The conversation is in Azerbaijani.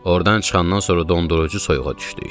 Ordan çıxandan sonra dondurucu soyuğa düşdük.